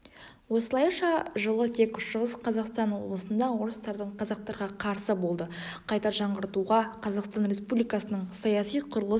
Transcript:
осылайша жылы тек шығыс қазақстан облысында орыстардың қазақтарға қарсы болды қайта жаңғыртуға қазақстан республикасының саяси құрылыс